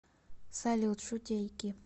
салют шутейки